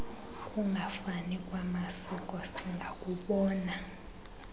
kungafani kwamasiko singakubona